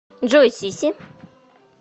джой сиси